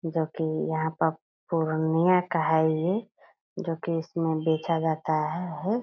जो कि यहाँ पे पूर्णिया का है ये जो कि इसमें बेचा जाता है।